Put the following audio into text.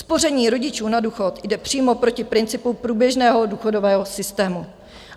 Spoření rodičů na důchod jde přímo proti principu průběžného důchodového systému.